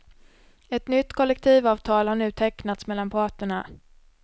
Ett nytt kollektivavtal har nu tecknats mellan parterna.